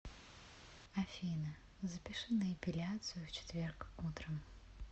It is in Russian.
афина запиши на эпиляцию в четверг утром